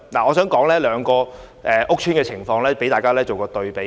我想引用兩個屋邨的情況供大家作一對比。